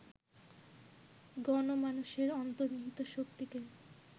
গণমানসের অন্তর্নিহিত শক্তিকে